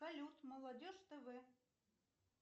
салют молодежь тв